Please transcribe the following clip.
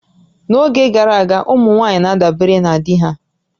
N'oge gara aga, ụmụ nwaanyị na-adabere na di ha